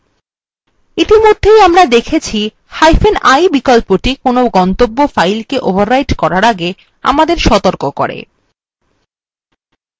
ইতিমধ্যে আমরা দেখেছিi বিকল্পটি কোনো গন্তব্য file the overwrite করার আগে আমাদের সতর্ক করে